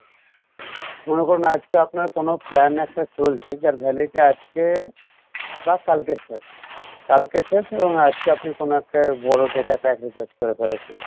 মনে করুন আজকে আপনার কোনো plan একটা চলছে যার validity আজকে বা কালকে শেষ কালকে শেষ এবং আজকে আপনি কোনো একটা বড়ো data pack recharge করে ফেলেছেন